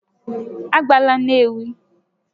A gabela Nnewi!